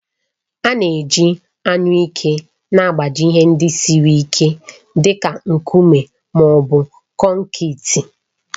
A na-eji anyụike na-agbaji ihe ndị siri ike dị ka nkume ma ọ bụ konkịtị.